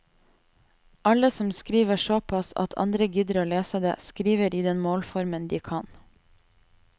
Alle som skriver såpass at andre gidder å lese det, skriver i den målformen de kan.